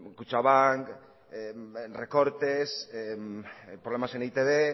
kutxabank recortes problema en e i te be